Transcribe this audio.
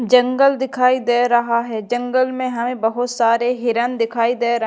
जंगल दिखाई दे रहा हैं जंगल में हैं बहोत सारे हिरण दिखाई दे र--